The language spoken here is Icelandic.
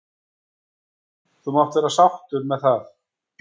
. þú mátt vera sáttur með það.